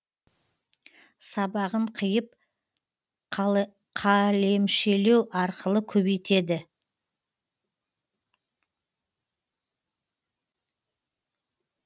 сабағын қиып қалемшелеу арқылы көбейтеді